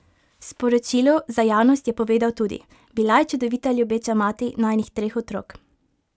V sporočilu za javnost je povedal tudi: "Bila je čudovita ljubeča mati najinih treh otrok.